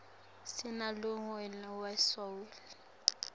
sinalonuyg we soul